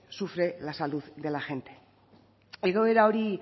sufre la salud de la gente egoera hori